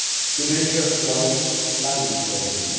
To name just one language learning.